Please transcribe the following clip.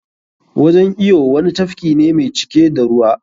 Wajan iyo wani tafki ne mai cike da ruwa.